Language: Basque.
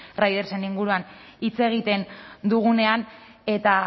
ridersen inguruan hitz egiten dugunean eta